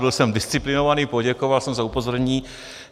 Byl jsem disciplinovaný, poděkoval jsem za upozornění.